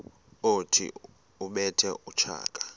othi ubethe utshaka